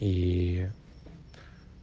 и